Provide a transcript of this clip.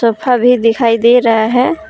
भी दिखाई दे रहा है।